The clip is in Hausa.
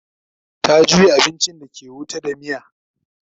ta juya abincin da ke wuta da muciya